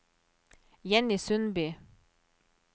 Jenny Sundby